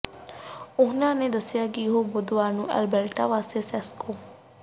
ਉਨ੍ਹਾਂ ਦੱਸਿਆ ਕਿ ਉਹ ਬੁੱਧਵਾਰ ਨੂੰ ਐਲਬਰਟਾ ਵਾਸਤੇ ਸਿਸਕੋ